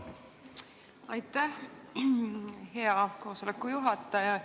Aitäh, hea koosoleku juhataja!